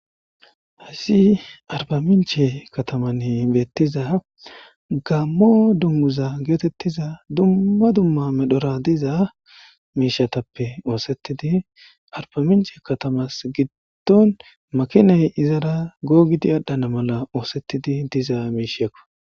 hasi arba minche katamann beettiza gammo dummuza geetettiza dumma dumma medhora diza miishatappe oosetidi arba minche katamas giddon makinay izara googidi adhana mala oosettidi diza miishekko.